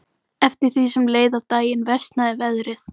Eftir því sem leið á daginn versnaði veðrið.